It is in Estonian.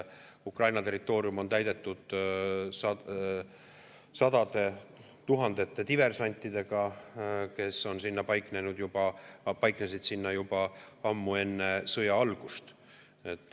Ukraina territoorium on täidetud sadade tuhandete diversantidega, kes on sinna paiknenud juba ammu enne sõja algust.